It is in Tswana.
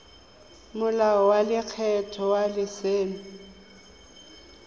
molao wa lekgetho wa letseno